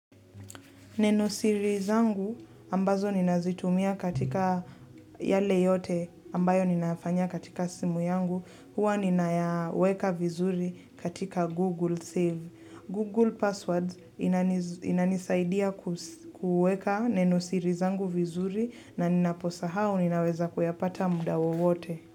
Neno siri zangu ambazo ninazitumia katika yale yote ambayo ninafanya katika simu yangu, huwa ninaweka vizuri katika Google Save. Google Passwords inanisaidia kuweka neno siri zangu vizuri na ninaposa hao ninaweza kuyapata muda wote.